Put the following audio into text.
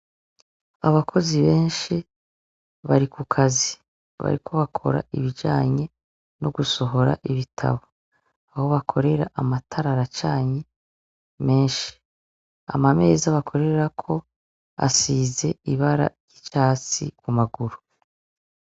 Abakozi benshi bari ku kazi. Bariko bakora ibijanye nugusohora ibitabu. Aho bakorera amatara aracanye menshi. Amameza bakorerako asize ibara c'ivyatsi ku maguru.